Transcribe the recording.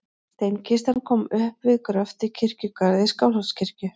Steinkistan kom upp við gröft í kirkjugarði Skálholtskirkju.